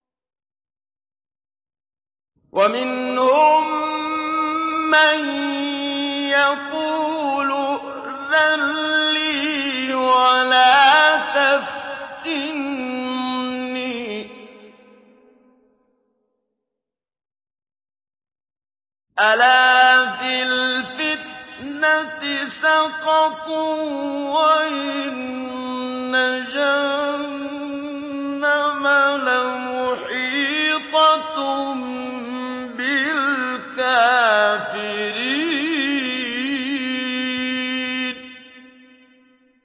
وَمِنْهُم مَّن يَقُولُ ائْذَن لِّي وَلَا تَفْتِنِّي ۚ أَلَا فِي الْفِتْنَةِ سَقَطُوا ۗ وَإِنَّ جَهَنَّمَ لَمُحِيطَةٌ بِالْكَافِرِينَ